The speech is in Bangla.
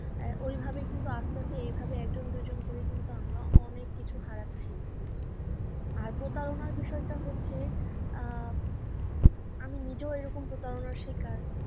এভাবে কিন্তু আস্তে আস্তে এভাবে একজন দুইজন করে কিন্তু আমরা অনেক কিছু হারাচ্ছি। আর প্রতারণা বিষয়টা হচ্ছে আমি নিজেও এরকম প্রতারণা শিকার